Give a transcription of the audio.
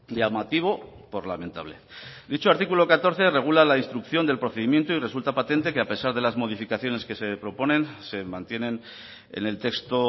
llamativo por lamentable dicho artículo catorce regula la instrucción del procedimiento y resulta patente que a pesar de las modificaciones que se proponen se mantienen en el texto